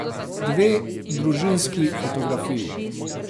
Dve družinski fotografiji.